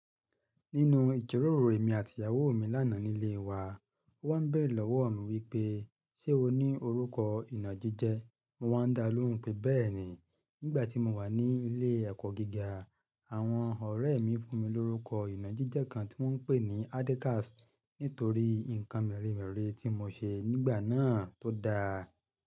Nínu ìjiroro emi àti ìyàwó mi lánàá nílé wa, ó wá bẹ̀re lọ́wọ̀ mi wípé, ṣe o ní orúkọ ìnàjíjẹ? Mo wá dá lóhùn pé bẹ́ẹ̀ni, nígbà tí mo wà ní ilé ẹ̀kọ́ gíga, àwọn ọ̀rẹ́ mi fún mi lórúkọ ìnàjíjẹ kan tí wọ́n ń pè ní Adekas nítorí nǹkan mẹ́rimẹ́ri tí mo ṣe nígbà náà tó dáa.